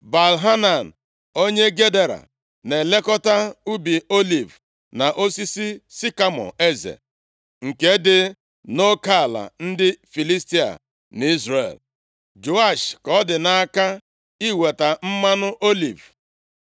Baal-Hanan onye Gedera na-elekọta ubi oliv na osisi sikamọ eze, nke dị nʼoke ala ndị Filistia na Izrel. Joash ka ọ dị nʼaka iweta mmanụ oliv.